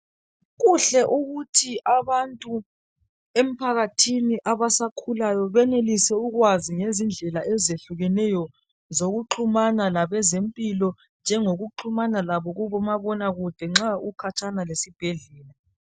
Kuhle ukuthi abantu emphakathini abasakhulayo benelise ukwazi ngezindlela ezehlukeneyo zokuxhumana labezempilo njengokuxhumana labo kumabona kude nxa ukhatshana lesibhedlela.